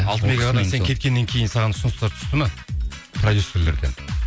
сен кеткеннен кейін саған ұсыныстар түсті ме продюссерлерден